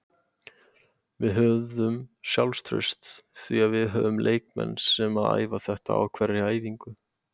Við höfðum sjálfstraust því að við höfum leikmenn sem að æfa þetta á hverri æfingu.